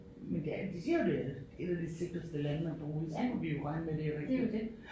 Men det er de siger jo det er et af de sikreste lande at bo i så må vi jo regne med det er rigtigt ik